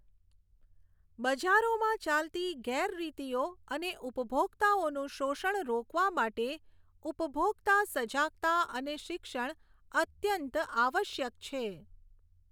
બજારોમાં ચાલતી ગેરરીતિઓ અને ઉપભોકતાઓનું શોષણ રોકવા માટે ઉપભોકતા સજાગતા અને શિક્ષણ અત્યંત આવશ્યક છે.